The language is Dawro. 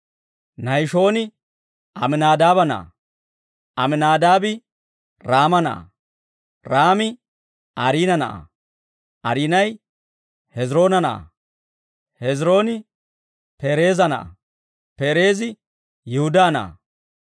Nahishooni Aminaadaaba na'aa; Aminaadaabi Raama na'aa; Raami Ariina na'aa; Ariinay Hezroona na'aa; Hezrooni Pereeza na'aa; Pereezi Yihudaa na'aa;